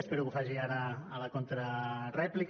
espero que ho faci ara a la contrarèplica